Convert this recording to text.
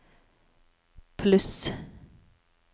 pluss